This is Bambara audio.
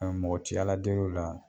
mɔgɔ ti Ala del'o la